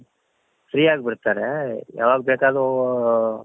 free ಆಗಿ ಬಿಡ್ತಾರೆ ಯಾವಾಗ ಬೇಕಾದ್ರು